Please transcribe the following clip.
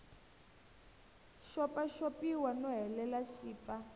xopaxopiwa no hleriwa xi pfa